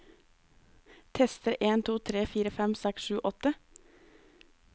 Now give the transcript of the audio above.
Tester en to tre fire fem seks sju åtte